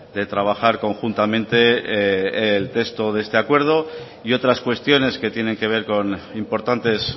de trabajar conjuntamente el texto de este acuerdo y otras cuestiones que tienen que ver con importantes